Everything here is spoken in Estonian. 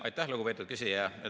Aitäh, lugupeetud küsija!